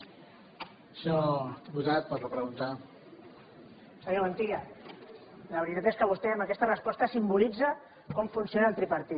senyor montilla la veritat és que vostè amb aquesta resposta simbolitza com funciona el tripartit